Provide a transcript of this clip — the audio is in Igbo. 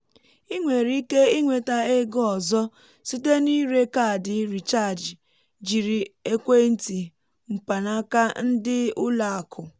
ị nwere ike inweta ego ọzọ site n’ire kaadị rechaaji jiri ekwentị mkpanaaka ndị ụlọaku